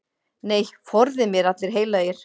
Nei, forði mér allir heilagir.